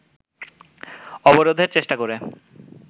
অবরোধের চেষ্টা করে